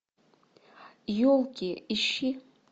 елки ищи